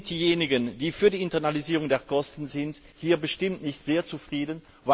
Also sind diejenigen, die für die Internalisierung der Kosten sind, hier bestimmt nicht zufrieden.